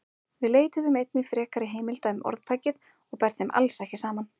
Við leituðum einnig frekari heimilda um orðtækið og ber þeim alls ekki saman.